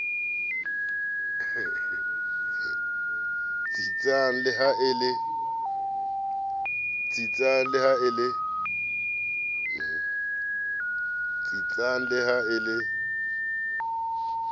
tsitsang le ha e le